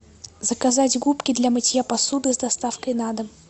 заказать губки для мытья посуды с доставкой на дом